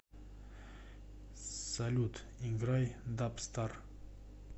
салют играй дабстар